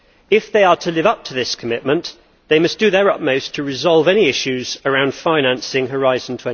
If they are to live up to this commitment they must do their utmost to resolve any issues around financing Horizon